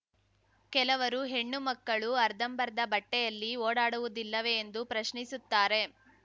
ಕೆಲವರು ಹೆಣ್ಣುಮಕ್ಕಳು ಅರ್ಧಂಬರ್ಧ ಬಟ್ಟೆಯಲ್ಲಿ ಓಡಾಡುವುದಿಲ್ಲವೇ ಎಂದು ಪ್ರಶ್ನಿಸುತ್ತಾರೆ